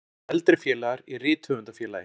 Ýmsir eldri félagar í Rithöfundafélagi